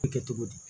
Kɛ cogo di